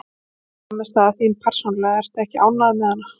En frammistaða þín persónulega, ertu ekki ánægður með hana?